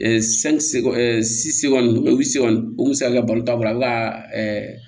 o kun bɛ se ka balo taa bolo a bɛ ka